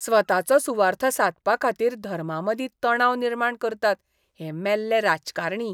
स्वताचो सुवार्थ सादपा खातीर धर्मांमदीं तणाव निर्माण करतात हे मेल्ले राजकारणी!